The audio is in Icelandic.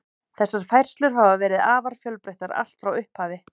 Þessar færslur hafa verið afar fjölbreyttar allt frá upphafi.